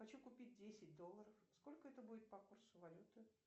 хочу купить десять долларов сколько это будет по курсу валюты